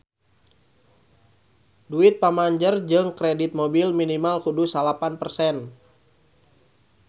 Duit pamanjer jang kredit mobil minimal kudu salapan persen